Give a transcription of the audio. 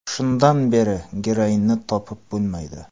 Shundan beri geroinni topib bo‘lmaydi.